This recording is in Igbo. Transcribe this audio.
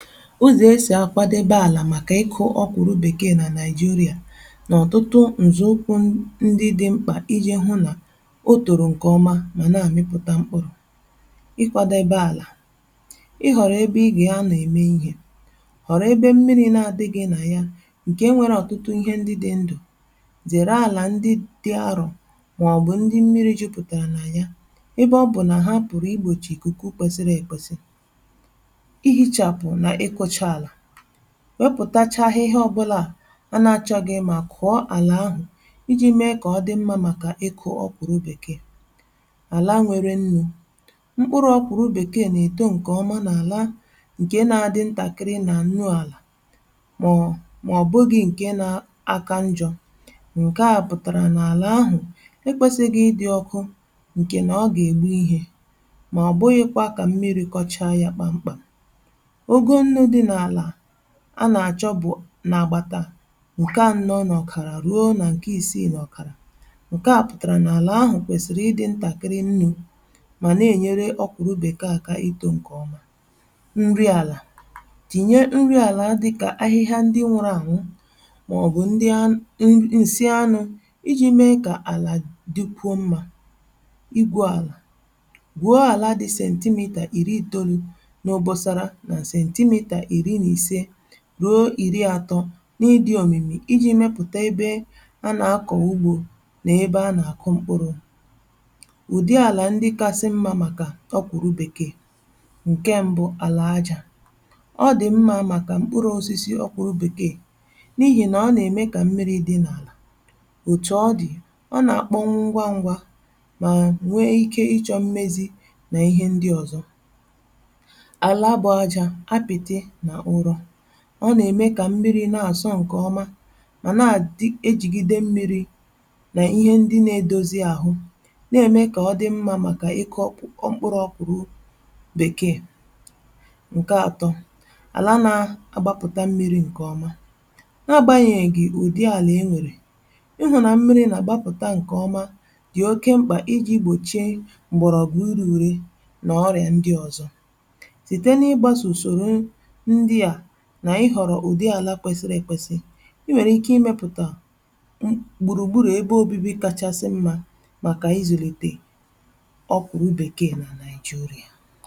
Ụzọ̀ e sì akwadebe àlà màkà ịkụ̇ ọkụru bekėe nà naịjirịà na ọ̀tụtụ ǹzọ̀ ụkwụ ndị dị mkpà iji̇ hụ nà o tòrò ǹkè ọma mà naà mịpụ̀ta mkpụrụ̇: ịkwȧdebe àlà, ị họ̀rọ̀ ebe ị gà-anọ̀ ème ihe, họ̀rọ̀ ebe mmiri̇ nà adịghị nà ya ǹkè nwere ọ̀tụtụ ihe ndị dị ndụ̀, zèrè àlà ndị dị arọ̀ màọ̀bụ̀ ndị mmiri̇ jupùtèrè nà ya ebe ọ bụ̀ nà ha pụ̀rụ̀ igbòchì ikuku kwesiri èkwesi̇. Ihichapụ na ịkwọcha ala: wepụtachaa ihe ọ̀bụla a a nà-àchọghị mà kụ̀ọ àlà ahụ̀ i ji̇ mee kà ọ dị mmȧ màkà ịkụ̇ ọ̀kwụrụ bèkee. Ala nwere nnu: mkpụrụ ọ̀kwụrụ bèkee nà-èto ǹkè ọma n'àla ǹkè nà-àdị ntàkịrị nà nnu àlà màọ màọbụghị ǹke nȧ aka njọ̇. Nke a pụ̀tàrà n’àlà ahụ̀ ekwesighi ị dị̇ ọkụ ǹkè nà ọ gà ègbu ihe, màọbụghịkwȧ kà mmiri̇ kọchaa yȧ kpàmkpàm. Ụgụ nnu dị n'ala a nà-àchọ bụ̀ nà-agbàtà nke anọ n'ọkara ruo nà ǹke ìsiì n’ọ̀kàrà. Nke à pụ̀tàrà n’àlà ahụ̀ kwèsìrì ị dị̇ ntàkị̀rị nnụ mà nà-ènyere ọkwụ̀rụ bekee àkà itȯ ǹkè ọma. Nri àlà: tinye nri àlà dịkà ahịhịa ndị nwụrụ anwụ màọ̀bụ̀ ndị an n nsị anụ̇ i ji̇ mee kà àlà dịkwuo mmȧ. I gwu àlà: gwuo àla dị 90cm n'obosara na 15cm-30cm n’ịdị òmìmì i ji̇ mepụ̀ta ebe anà-akọ̀ ugbȯ n’ebe anà-àkụ mkpụrụ̇. Ụdị àlà ndị kasị mmȧ màkà ọ kwụ̀rụ bekee: Nke mbụ, alà ajȧ: ọ dị̀ mmȧ màkà mkpụrụ̇ osisi ọkwụrụ̇ bekee n’ihì nà ọ nà-ème kà mmiri dị̇ n’àlà. Otù ọ dị̀, ọ na-akpọnwụ ngwa ngwa mà nwee ike ịchọ̇ mmezi nà ihe ndị ọ̀zọ. Nke abụọ, ala bụ aja apịtị na ụrọ: ọ nà-ème kà mmiri na-àsọ̇ ǹkè ọma mà na-adị èjigide mmiri nà ihe ndị na-edozi àhụ, na-ème kà ọdị̇ mmȧ màkà ịkụ mkpụrụ ọkwụrụ ọkwụ̀rụ bèkee. Nke atọ, ala nȧ-agbapụ̀ta mmiri̇ ǹkè ọma: nà-agbȧnyèghì ùdị àlà e nwèrè, ị hụ̀rụ̀ nà mmiri nà-àgbapụ̀ta ǹkè ọma dị̀ oke mkpà i ji̇ gbòchie m̀gbọ̀rọ̀gụ i re uré, nà ọrị̀à ndị ọ̀zọ. Site n'ịgbaso usoro n ndịa nà ị họ̀rọ̀ ụ̀dị àlà kwesịrị èkwesị, i nwèrè ike ị mepùtà gbùrùgburù ebe obibi kàchàsị mmȧ màkà ịzụ̀lite ọ̀kwụ̀rụ̀ bekee nà Naịjirịà.